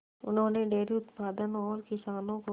उन्होंने डेयरी उत्पादन और किसानों को